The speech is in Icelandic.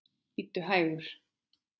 Bíddu hægur.